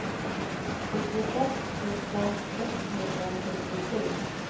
fyrtioett tusen sexhundrafyrtiosju